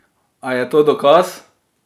A je to dokaz?